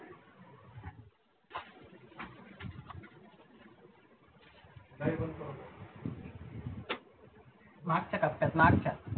मार्च च्या टप्प्यात मार्चच्या